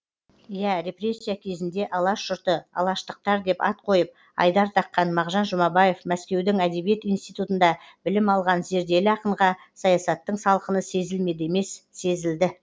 иә репрессия кезінде алаш жұрты алаштықтар деп ат қойып айдар таққан мағжан жұмабаев мәскеудің әдебиет институтында білім алған зерделі ақынға саясаттың салқыны сезілмеді емес сезілді